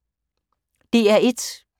DR1